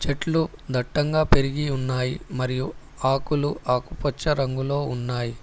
చెట్లు దట్టంగా పెరిగి ఉన్నాయి మరియు ఆకులు ఆకుపచ్చ రంగులో ఉన్నాయి.